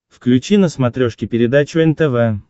включи на смотрешке передачу нтв